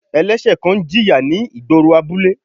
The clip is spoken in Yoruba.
Ẹlẹ́sẹ̀ kan ń jìyà ni igboro abule.